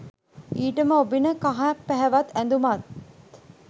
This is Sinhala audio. ඊටම ඔබින කහ පැහැවත් ඇඳුමත්